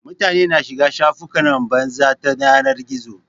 Mutane na shiga shafukan batsa ta yanar gizo